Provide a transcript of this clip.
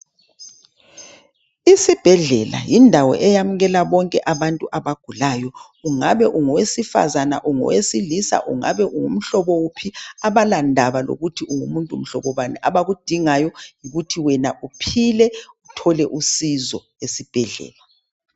Isibhedlela yindawo eyamukela bonke abantu abagulayo. Ungabe ungowesifazane ungowesilisa ,ungabe ungumhlobo wuphi .Abalandaba lokuthi ungumuntu muhlobo bani abakudingayo yikuthi uphile uthole usizo esibhedlela.